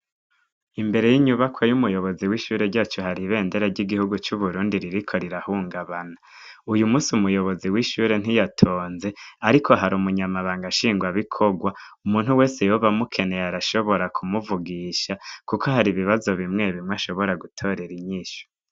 IMbere y'inyubakwa yumu rongozi wacu hari ibendera ry'igihugu cu Burundi ririko rirahungabana uyu munsi umuyobozi w'ishuri ntiyatonze ariko hari umunyabanga shingwa bikorwa umuntu wese yoba amukeneye arashobora ku muvugisha kuko hari ibibazo bimwe bimwe ashobora gutorera inyishu.